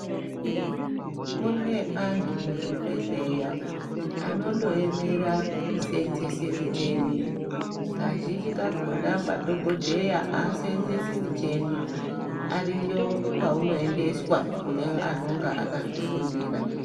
Kune antu muzvibhedhleya anondoemera kuseenzeese micheni. Kazhinji kakhona madhogodheya aaseenzesi micheni. Ariyo kwaunoendeswa kune anonga akazvifundira.